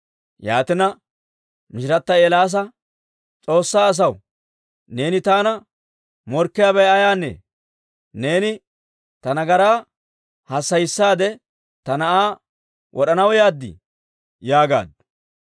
Yaatina, mishirata Eelaasa, «S'oossaa asaw, neeni taana morkkiyaabay ayaanee? Neeni ta nagaraa hassayissaade ta na'aa wod'anaw yaaddi?» yaagaaddu.